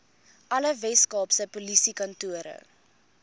alle weskaapse polisiekantore